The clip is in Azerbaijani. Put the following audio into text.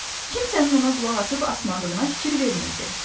Kimsənin ona qulaq asıb asmadığına fikir vermirdi.